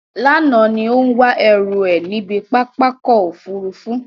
Lánàá ní ó ń wá ẹrú ẹ̀ níbi pápá ọkọ̀ Òfurufú.